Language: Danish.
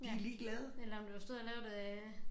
Ja eller om du har stået og lavet det